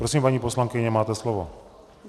Prosím, paní poslankyně, máte slovo.